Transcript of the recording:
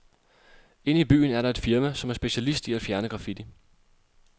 Inde i byen er der et firma, som er specialist i at fjerne graffiti.